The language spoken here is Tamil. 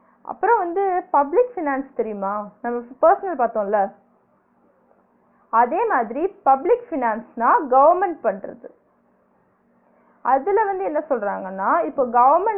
அப்றோ வந்து public finance தெரியுமா நம்ம இப்ப personal பாத்தோம்ல அதே மாதிரி public finance ன்னா government பன்றது அதுல வந்து என்ன சொல்றாங்கனா இப்ப government